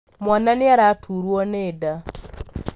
Mwana nĩaraturwo nĩ nda